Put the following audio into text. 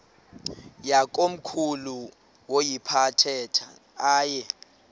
yakomkhulu woyiphatha aye